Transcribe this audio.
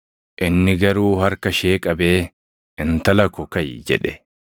Inni garuu harka ishee qabee, “Intala ko, kaʼi!” jedhe.